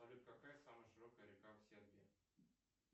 салют какая самая широкая река в сербии